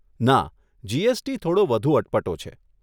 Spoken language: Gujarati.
ના, જીએસટી થોડો વધુ અટપટો છે.